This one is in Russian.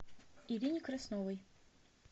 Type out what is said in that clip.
ирине красновой